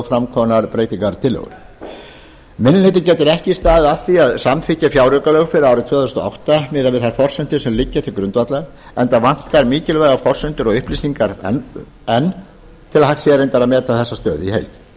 fram komnar breytingartillögur minni hlutinn getur ekki staðið að því að samþykkja fjáraukalög fyrir árið tvö þúsund og átta miðað við þær forsendur sem liggja til grundvallar enda vantar mikilvægar forsendur og upplýsingar enn til að hægt sé að meta þessa stöðu í heild